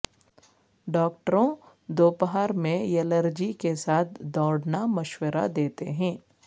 ڈاکٹروں دوپہر میں یلرجی کے ساتھ دوڑنا مشورہ دیتے ہیں